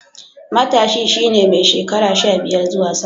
Matashi shi ne mai shekara sha biyar zuwa sama.